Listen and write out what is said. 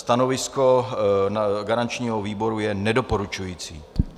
Stanovisko garančního výboru je nedoporučující.